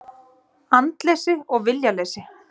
Andleysi og viljaleysi.